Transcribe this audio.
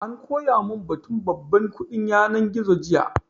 An koya mun batun babban kuɗin yanar gizo jiya